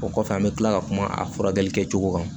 O kɔfɛ an bɛ tila ka kuma a furakɛli kɛcogo kan